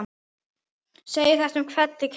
segir þetta um fellið Keili